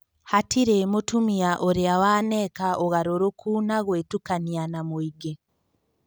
Hatirĩ mutumia ũrĩa waneka ũgarũrũku na gũĩtukania na mũingĩ.